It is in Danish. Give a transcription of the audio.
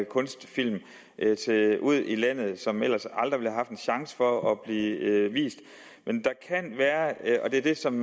kunstfilm ude i landet som ellers aldrig ville have en chance for at blive vist og det er det som